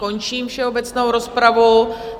Končím všeobecnou rozpravu.